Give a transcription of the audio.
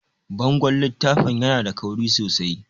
Bangon littafin yana da kauri sosai